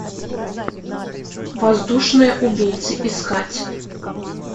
воздушные убийцы искать